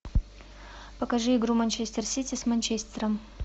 покажи игру манчестер сити с манчестером